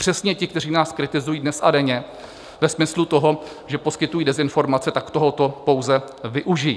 Přesně ti, kteří nás kritizují dnes a denně ve smyslu toho, že poskytují dezinformace, tak tohoto pouze využijí.